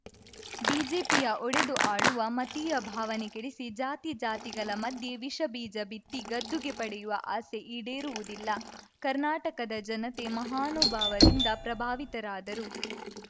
ಬಿಜೆಪಿಯ ಒಡೆದು ಆಳುವ ಮತೀಯ ಭಾವನೆ ಕೆಡಿಸಿ ಜಾತಿ ಜಾತಿಗಳ ಮಧ್ಯೆ ವಿಷ ಬೀಜ ಬಿತ್ತಿ ಗದ್ದುಗೆ ಪಡೆಯುವ ಆಸೆ ಈಡೇರುವುದಿಲ್ಲ ಕರ್ನಾಟಕದ ಜನತೆ ಮಹಾನುಭಾವರಿಂದ ಪ್ರಭಾವಿತರಾದರು